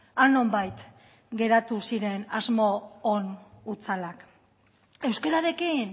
han nonbait geratu ziren asmo on hutsalak euskararekin